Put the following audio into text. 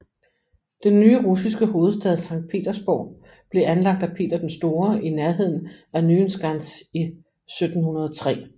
Den nye russiske hovedstad Sankt Petersborg blev anlagt af Peter den Store i nærheden af Nyenskans i 1703